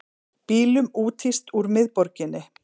Bílum úthýst úr miðborginni